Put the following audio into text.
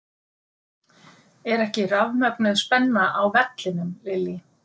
Er ekki rafmögnuð spenna á vellinum Lillý?